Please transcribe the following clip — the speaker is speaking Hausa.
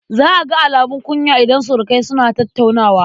Za a ga alumun kunya idan surukai suna tattaunawa.